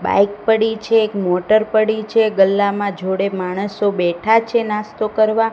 Bike પડી છે એક મોટર પડી છે ગલ્લામાં જોડે માણસો બેઠા છે નાસ્તો કરવા.